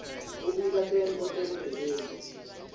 kubika tento tebugebengu